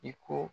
I ko